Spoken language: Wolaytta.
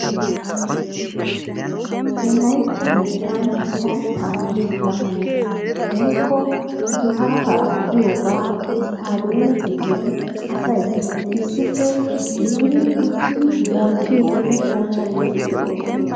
Wolaytta biittan layttaa laamiya woykko gifaataa giyogaa isttaadeeme giddon asay issippe gididi uttidi bonchchiiddinne poocammiiddi de'oosona.